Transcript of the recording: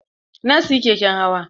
Na siyi keken hawa.